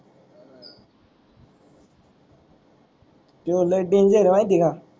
त्यो लय Danger महिती का.